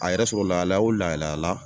a yɛrɛ soro lahala o lahaliya la